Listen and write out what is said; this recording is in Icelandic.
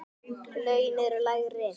Laun eru lægri.